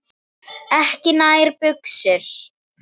Ekki nær buxur.